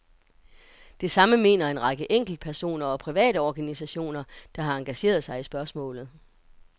Det samme mener en række enkeltpersoner og private organisationer, der har engageret sig i spørgsmålet.